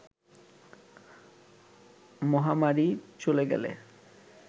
মহামারি চলে গেলে